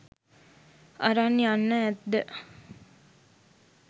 අරන් යන්න ඇත්ද.